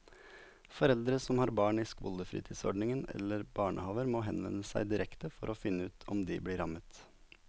Foreldre som har barn i skolefritidsordning eller barnehaver må henvende seg direkte for å finne ut om de blir rammet.